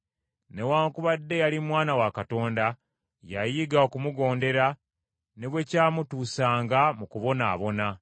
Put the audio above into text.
Newaakubadde yali Mwana wa Katonda, yayiga okumugondera ne bwe kwamutuusanga mu kubonaabona.